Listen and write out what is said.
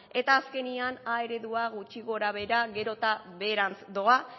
eta azkenean a eredua gutxi gorabehera beherantz doa